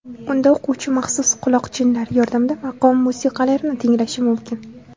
Unda o‘quvchi maxsus quloqchinlar yordamida maqom musiqalarini tinglashi mumkin.